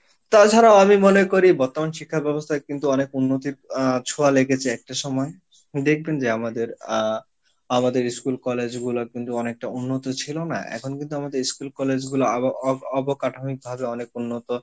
তাছাড়াও আমি মনে করি বর্তমান শিক্ষা ব্যবস্থায় কিন্তু অনেক উন্নতির আহ ছোঁয়া লেগেছে একটা সময়ে দেখবেন যে আমাদের আহ আমাদের school college গুলো কিন্তু অনেকটা উন্নত ছিলো না এখন কিন্তু আমাদের school college গুলা অব অব~অবকাঠমিক ভাবে অনেক উন্নত